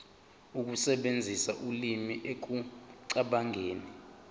ukusebenzisa ulimi ekucabangeni